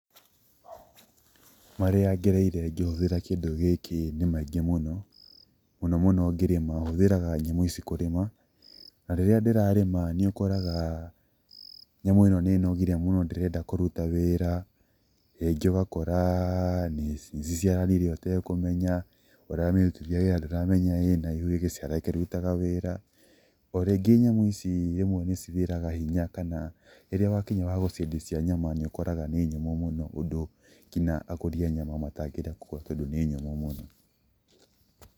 Marĩa ngereire ngĩhũthĩra kĩndũ gĩkĩ nĩ maingĩ mũno, mũno mũno ngĩrĩma, hũthĩraga nyamũ ici kũrĩma, na rĩrĩa ndĩrarĩma nĩ ũkoraga nyamũ ĩno nĩ ĩnogire mũno ndĩrenda kũruta wĩra, rĩngĩ ũgakora nĩ ciciaranire ũtekũmenya, ũramĩrutithia wĩra ndũramenya ĩna ihu ĩgaciara ĩkĩrutaga wĩra. O rĩngĩ nyamũ ici rĩmwe nĩ cithiraga hinya kana rĩrĩa wakinya wa gũciendia cia nyama nĩ ũkoraga nĩ nyũmũ mũno ũndũ nginya agũri a nyama matangĩenda kũgũra tondũ nĩ nyũmũ mũno.